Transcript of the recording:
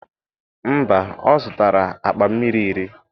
mba,o zụtara akpa mmiri iri.